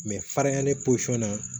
farinya ne posɔn na